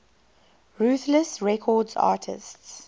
ruthless records artists